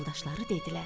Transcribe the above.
Yoldaşları dedilər: